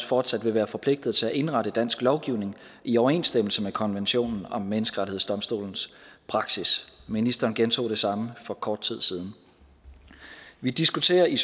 fortsat vil være forpligtet til at indrette dansk lovgivning i overensstemmelse med konventionen om menneskerettighedsdomstolens praksis ministeren gentog det samme for kort tid siden vi diskuterer i